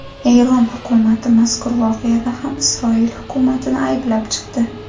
Eron hukumati mazkur voqeada ham Isroil hukumatini ayblab chiqdi.